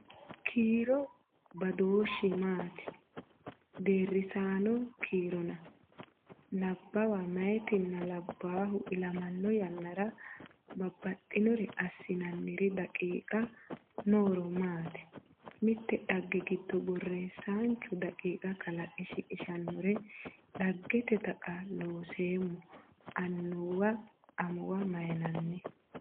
kiiro badooshshi maati? Deerrisaano kiirona? Nabbawa meyaatinna labbaahu ilamanno yannara baxxinore assinanniri daqiiqa Nooro maati? Mitte dhagge giddo borreessaanchu daqiiqa kalaqe shiqishannore dhaggete Taqa Looseemmo annuwa amuwa maynanni?